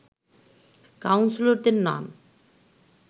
কাউন্সিলরদের নাম